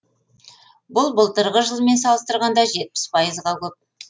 бұл былтырғы жылмен салыстырғанда жетпіс пайызға көп